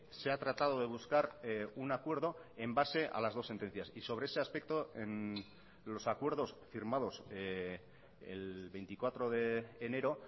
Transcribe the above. se ha tratado de buscar un acuerdo en base a las dos sentencias y sobre ese aspecto los acuerdos firmados el veinticuatro de enero